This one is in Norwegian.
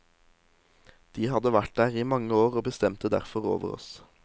De hadde vært der i mange år og bestemte derfor over oss.